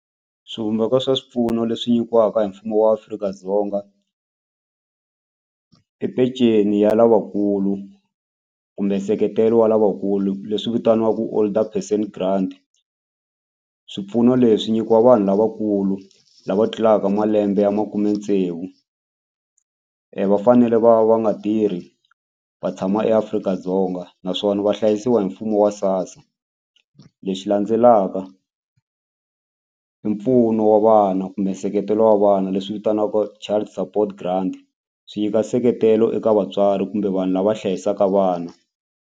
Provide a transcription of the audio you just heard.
Swivumbeko swa swipfuno leswi nyikiwaka hi mfumo wa Afrika-Dzonga i peceni ya lavakulu kumbe nseketelo wa lavakulu leswi vitaniwaku older person grant swipfuno leswi nyikiwa vanhu lavakulu lava tlulaka malembe ya makume tsevu va fanele va va nga tirhi va tshama eAfrika-Dzonga naswona va hlayisiwa hi mfumo wa SASSA lexi landzelaka i mpfuno wa vana kumbe nseketelo wa vana leswi vitaniwaka child support grant swi nyika nseketelo eka vatswari kumbe vanhu lava hlayisaka vana.